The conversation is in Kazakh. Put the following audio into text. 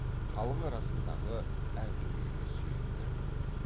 халық арасындағы әңгімеге сүйенді